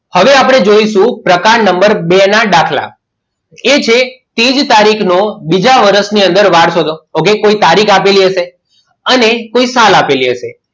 હવે આપણે જોઇશું પ્રકાર number બે ના દાખલા એ છે તે જ તારીખનો બીજા વર્ષની અંદર વાર શોધો કોઈ તારીખ આપેલી હશે અને કોઈ સાલ આપેલી હશે